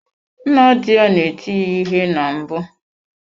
Nna di ya na-eti ya ihe na mbụ.